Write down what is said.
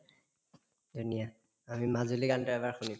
ধুনীয়া আমি মাজুলী গানতো এবাৰ শুনিম